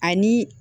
Ani